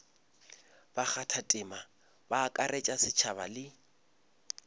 bakgathatema ba akaretša setšhaba le